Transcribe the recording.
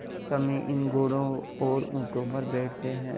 सम्मी इन घोड़ों और ऊँटों पर बैठते हैं